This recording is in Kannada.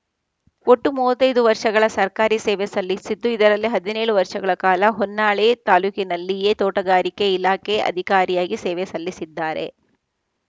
ಒಟ್ಟು ಮೂವತ್ತ್ ಐದು ವರ್ಷಗಳ ಸರ್ಕಾರಿ ಸೇವೆ ಸಲ್ಲಿಸಿದ್ದು ಇದರಲ್ಲಿ ಹದಿನೇಳು ವರ್ಷಗಳ ಕಾಲ ಹೊನ್ನಾಳಿ ತಾಲೂಕಿನಲ್ಲಿಯೇ ತೋಟಗಾರಿಕೆ ಇಲಾಖೆ ಅಧಿಕಾರಿಯಾಗಿ ಸೇವೆ ಸಲ್ಲಿಸಿದ್ದಾರೆ